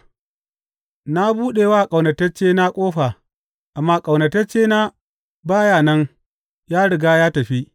Na buɗe wa ƙaunataccena ƙofa, amma ƙaunataccena ba ya nan, ya riga ya tafi.